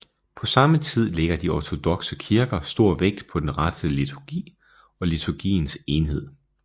På samme tid lægger de ortodokse kirker stor vægt på den rette liturgi og liturgiens enhed